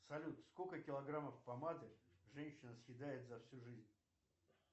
салют сколько килограммов помады женщина съедает за всю жизнь